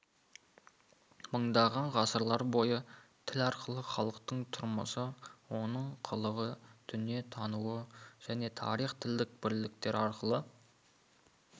мыңдаған ғасырлар бойы тіл арқылы халықтың тұрмысы оның қылығы дүниетануы және тарихы тілдік бірліктер арқылы